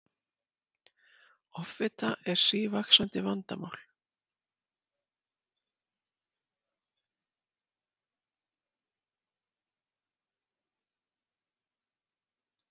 Offita er sívaxandi vandamál.